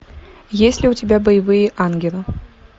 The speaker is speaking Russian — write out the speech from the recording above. есть ли у тебя боевые ангелы